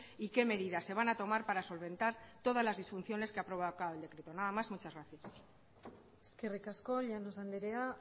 y qué medidas se van a tomar para solventar todas las disfunciones que ha provocado el decreto nada más muchas gracias eskerrik asko llanos andrea